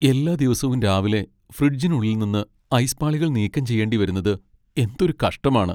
എല്ലാ ദിവസവും രാവിലെ ഫ്രിഡ്ജിനുള്ളിൽ നിന്ന് ഐസ് പാളികൾ നീക്കം ചെയ്യേണ്ടിവരുന്നത് എന്തൊരു കഷ്ടമാണ് .